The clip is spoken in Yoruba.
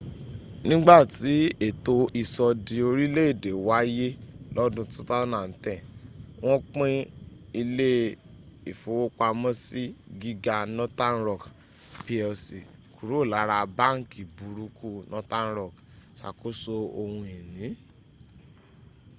nígbàtí ètò ìsọdi orílẹ̀èdè wáyé lọ́dún 2010 wọ́n pín ilé ìfowópamọ́sí gíga northern rock plc kúrò lára ‘báńkì burúkú’ northern rock ìsàkóso ohun ìní